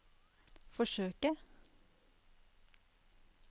forsøke